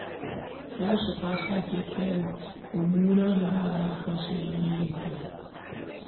Rasha ta sake kai munanan hare-haren a kan sojojin Ukraine.